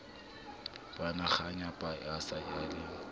bonakganyapa a se a le